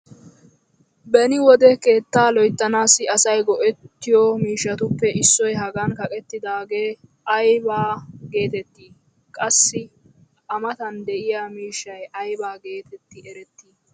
Beni wode keettaa loyttanaassi asay go'ettiyo miishshatuppe issoy hagan kaqettaagee aybba geetettii? Qassi a matan diya miishshay ayba geetetti erettii?